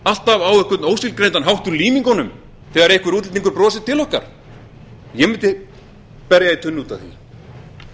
alltaf á einhvern ótilgreindan hátt úr límingunum þegar einhver útlendingur brosir til okkar ég mundi berja í tunnu út af því